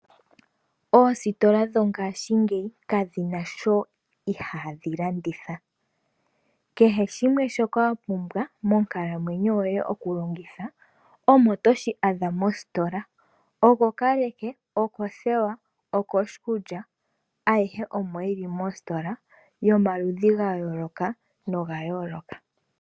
Oositola dhongaashingeyi kadhi na sho ihaadhi landitha. Kehe shimwe shoka wa pumbwa monkalamwenyo yoye oku longitha, omo toshi adha mositola, okokaleke, okothewa, okoshikulya ayihe omo yili mositola yomaludhi ga yooloka noga yooloka.